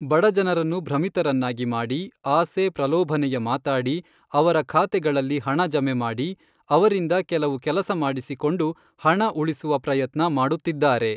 ಬಡಜನರನ್ನು ಭ್ರಮಿತರನ್ನಾಗಿ ಮಾಡಿ, ಆಸೆ, ಪ್ರಲೋಭನೆಯ ಮಾತಾಡಿ, ಅವರ ಖಾತೆಗಳಲ್ಲಿ ಹಣ ಜಮೆ ಮಾಡಿ, ಅವರಿಂದ ಕೆಲವು ಕೆಲಸ ಮಾಡಿಸಿಕೊಂಡು ಹಣ ಉಳಿಸುವ ಪ್ರಯತ್ನ ಮಾಡುತ್ತಿದ್ದಾರೆ.